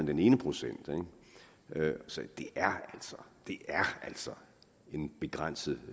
den ene procent så det er altså en begrænset